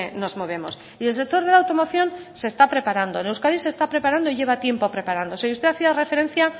nos movemos y el sector de la automoción se está preparando en euskadi se está preparando y lleva tiempo preparándose y usted hacía referencia